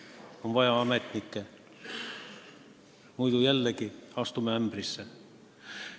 On vaja ametnikke, muidu astume jällegi ämbrisse.